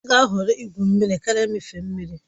Ọ ga-ahọrọ igwu mmiri karịa mmịfe mmiri